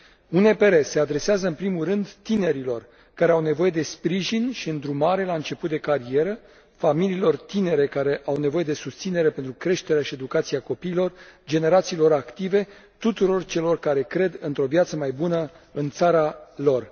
UNPR se adresează în primul rând tinerilor care au nevoie de sprijin și îndrumare la început de carieră, familiilor tinere care au nevoie de susținere pentru creșterea și educația copiilor, generațiilor active, tuturor celor care cred într o viață mai bună în țara lor.